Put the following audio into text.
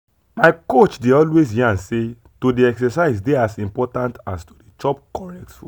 my coach dey always yarn say to dey exercise dey as important as to dey chop correct food.